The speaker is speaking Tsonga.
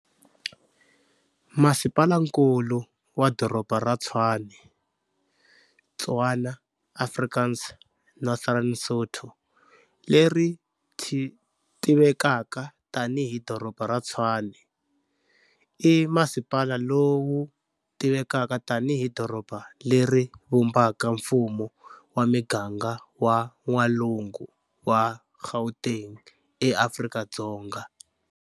Masipalankulu wa Doroba ra Tshwane, Tswana, Afrikaans, Northern Sotho, leri tivekaka tani hi Doroba ra Tshwane, i masipala lowu tivekaka tani hi doroba leri vumbaka mfumo wa miganga wa n'walungu wa Gauteng eAfrika-Dzonga.